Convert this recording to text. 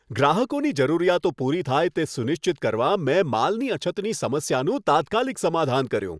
ગ્રાહકોની જરૂરિયાતો પૂરી થાય તે સુનિશ્ચિત કરવા મેં માલની અછતની સમસ્યાનું તાત્કાલિક સમાધાન કર્યું.